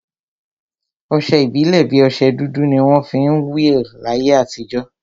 Ọsẹ ìbílè bi ọsẹ dúdú ni wọn fi ń will láyé àtijọ́